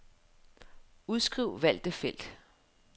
Udskriv valgte felt.